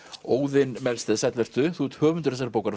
Óðinn Melsted sæll vertu þú ert höfundur þessarar bókar